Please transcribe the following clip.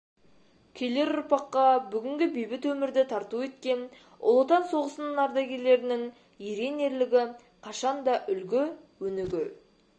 келер ұрпаққа бүгінгі бейбіт өмірді тарту еткен ұлы отан соғысының ардагерлерінің ерен ерлігі қашанда үлгі өнеге